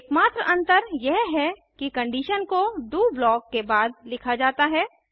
एकमात्र अंतर यह है कि कंडीशन को डीओ ब्लॉक के बाद लिखा जाता है